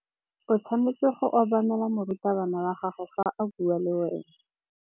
O tshwanetse go obamela morutabana wa gago fa a bua le wena.